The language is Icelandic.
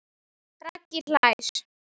Raggi hlær.